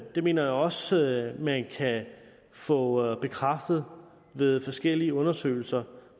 det mener jeg også man kan få bekræftet ved forskellige undersøgelser